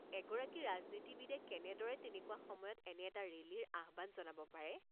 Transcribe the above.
এগৰাকী ৰাজনীতিবিদে কেনেদৰে তেনেকুৱা সময়ত এনে এটা ৰেলীৰ আহ্বান জনাব পাৰে?